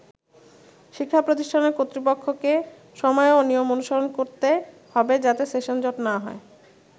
“শিক্ষা প্রতিষ্ঠানের কর্তৃপক্ষকে সময় ও নিয়ম অনুসরণ করতে হবে যাতে সেশন জট না হয়”।